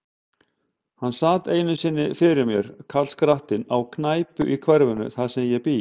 Hann sat einu sinni fyrir mér, karlskrattinn, á knæpu í hverfinu, þar sem ég bý.